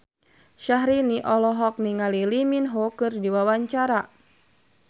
Syahrini olohok ningali Lee Min Ho keur diwawancara